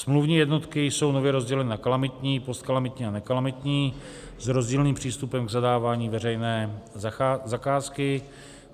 Smluvní jednotky jsou nově rozděleny na kalamitní, postkalamitní a nekalamitní - s rozdílným přístupem k zadávání veřejné zakázky.